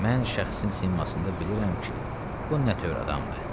Mən şəxsin simasında bilirəm ki, bu nə tövr adamdır.